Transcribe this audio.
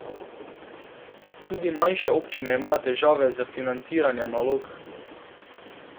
Tudi manjše občine imajo težave s financiranjem nalog.